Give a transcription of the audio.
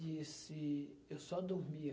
disse, eu só dormia.